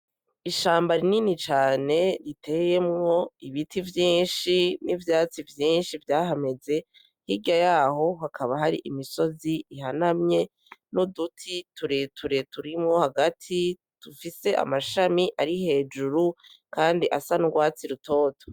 Ishamba rinini cane iteyemwo ibiti vyinshi n'ivyatsi vyinshi vyahameze, hirya yaho hakaba hari imisozi ihanamye n'uduti tureture turimwo hagati dufise amashami ari hejuru kandi asa n'urwatsi rutoto.